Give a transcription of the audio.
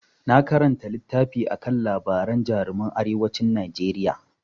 Na karanta littafi akan labaran jaruman arewacin Najeriya.